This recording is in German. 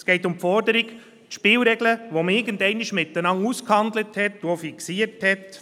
Es geht um die Forderung, die Spielregeln zu ändern, die man einmal zusammen ausgehandelt und fixiert hat.